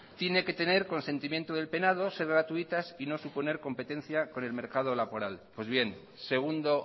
tiene que tener consentimiento del penado ser gratuitas y no suponer competencia con el mercado laboral pues bien segundo